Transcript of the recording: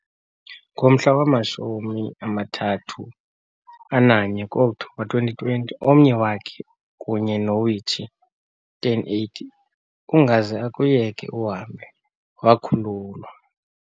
Ngomhla wama-31 ku-Okthobha, 2020, omnye wakhe kunye noWichi 1080 "Ungaze Akuyeke uhambe" wakhululwa.